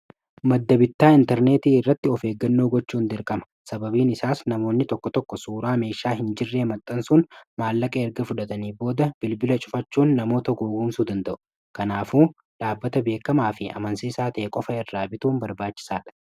maddabitaa intarneetii irratti ofeeggannoo gochuun derqama sababiin isaas namoonni tokko tokko suuraa meeshaa hin jirree maxxansuun maallaqa erga fudhatanii booda bilbila cufachuun namoota goowwumsuu danda'u kanaafuu dhaabbata beekamaa fi amansii isaa ta'e qofa irraa bituun barbaachisaadha